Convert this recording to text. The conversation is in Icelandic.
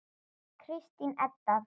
Kristín Edda.